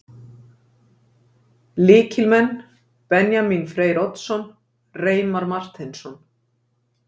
Lykilmenn: Benjamín Freyr Oddsson, Reimar Marteinsson